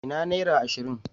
Ina naira ashirin?